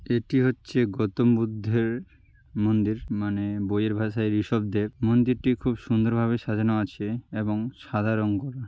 এটি হচ্ছে গৌতম বুদ্ধের মন্দির মানে বইয়ের ভাসায় রিসভ দেব। মন্দিরটি খুব সুন্দর ভাবে সাজানো আছে এবং সাদা রঙ করা ।